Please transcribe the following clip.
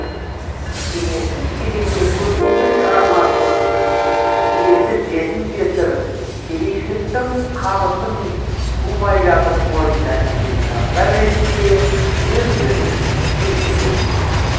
кеңестік кезеңде көптеген шығармашлық иесі жетім жесір кедейшіліктің қамытын тумай жатып мойнына ілген жандар ретінде өздерін көрсететін